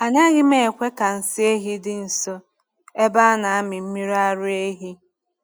Anaghị m ekwe ka nsị ehi dị nso ebe a na-amị mmiri ara ehi.